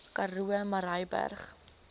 karoo murrayburg